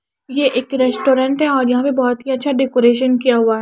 यह ये एक रेस्टोरेंट है और यहां पे बहोत ही अच्छा डेकोरेशन किया हुआ।